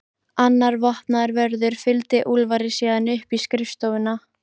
Annar vopnaður vörður fylgdi Úlfari síðan upp í skrifstofuna.